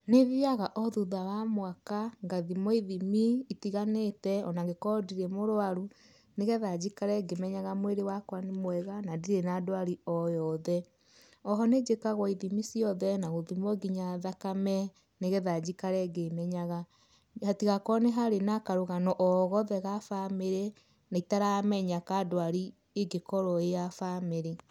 Nĩ thiaga o thutha wa mwaka, ngathimwo ithimi itiganĩte o na ingĩkorwo ndirĩ mũrwaru nĩgetha njikare ngĩmenyaga mwĩrĩ wakwa nĩ mwega na ndirĩ na ndwarĩ o yothe. Oho nĩnjĩkagwo ithimi ciothe na gũthimwo nginya thakame nĩgetha njikare ngĩmenyaga. Hatigakorwo nĩ harĩ na karũgano o gothe ga bamĩrĩ na itaramenya ka ndwari ĩngikorwo ĩĩ ya bamĩrĩ.